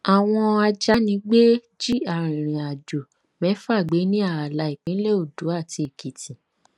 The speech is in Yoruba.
àwọn ajánigbé jí arìnrìnàjò mẹ́fà gbé ní ààlà ìpínlẹ òǹdó àti èkìtì